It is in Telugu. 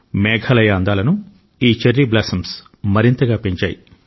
మేఘాలయ అందాలను ఈ చెర్రీ బ్లాసమ్స్ మరింతగా పెంచాయి